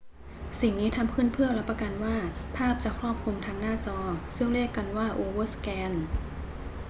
สิ่งนี้ทำขึ้นเพื่อรับประกันว่าภาพจะครอบคลุมทั้งหน้าจอ ซึ่งเรียกกันว่าโอเวอร์สแกน